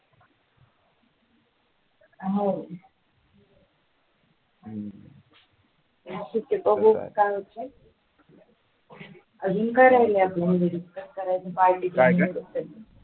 हो अजून काय राहिला आपल म्हणजे discuss करायचं